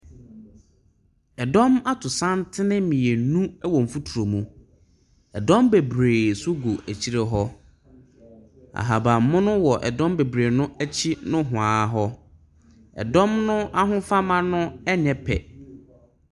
Dɔm ato santene mmienu wɔ mfuturo mu, dɔm bebree nso gu akyire hɔ. Ahabanmono wɔ dɔm bebree no akyi nohoa hɔ. Dɔm no ahofama no nyɛ pɛ.